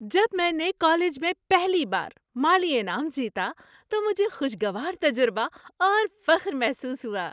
جب میں نے کالج میں پہلی بار مالی انعام جیتا تو مجھے خوشگوار تجربہ اور فخر محسوس ہوا۔